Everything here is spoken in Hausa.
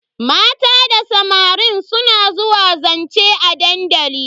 Mata da samarin su suna zuwa zance a dandali.